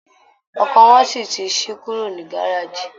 Ọkọ̀ wọn ti ṣí kúrú ní gáràjì